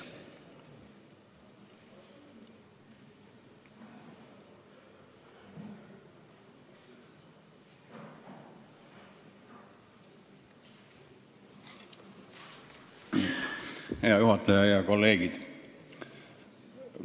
Hea juhataja ja head kolleegid!